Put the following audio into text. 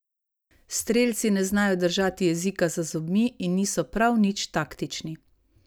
Strelci ne znajo držati jezika za zobmi in niso prav nič taktični.